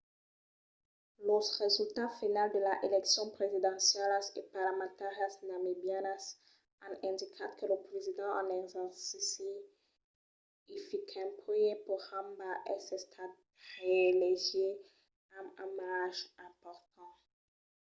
los resultats finals de las eleccions presidencialas e parlamentàrias namibianas an indicat que lo president en exercici hifikepunye pohamba es estat reelegit amb un marge important